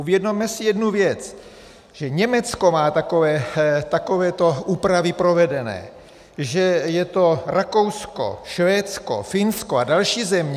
Uvědomme si jednu věc, že Německo má takovéto úpravy provedené, že je to Rakousko, Švédsko, Finsko a další země.